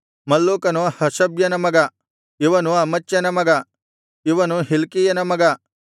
ಮಲ್ಲೂಕನು ಹಷಬ್ಯನ ಮಗ ಇವನು ಅಮಚ್ಯನ ಮಗ ಇವನು ಹಿಲ್ಕೀಯನ ಮಗ